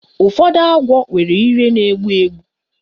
Ụfọdụ agwọ nwere ire na-egbu egbu